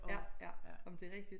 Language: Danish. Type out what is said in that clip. Ja ja ej men det rigtigt